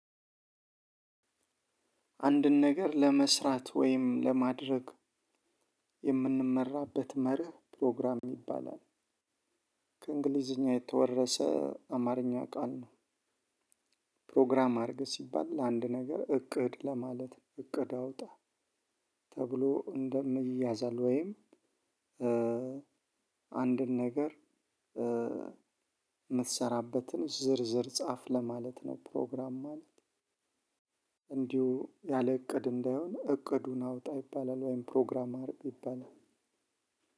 አንድን ነገር ለመስራት ወይም ለማድረግ የምንመራበት መርህ ፕሮግራም ይባላል ከእንግሊዝኛ የተወረሰ አማርኛ ቃል ነው። ፕሮግራም አርግ ሲባል ለአንድ ነገር እቅድ ለማለት ነው እቅድ አውጣ። ተብሎ እንደም ይያዛል ወይም። አንድን ነገር ምትሰራበትን ዝርዝር ጻፍ ለማለት ነው። ፕሮግራም ማለት እንዲሁ ያለ እቅድ እንዳይሆን እቅዱን አውጣ ይባላል ወይም ፕሮግራም አርግ ይባላል።